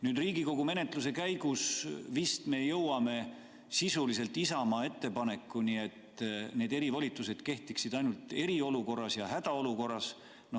Nüüd Riigikogu menetluse käigus vist me jõuame sisuliselt Isamaa ettepanekuni, et need erivolitused kehtiksid ainult eriolukorras ja hädaolukorras.